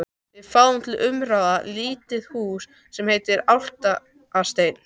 Við fáum til umráða lítið hús sem heitir Álfasteinn.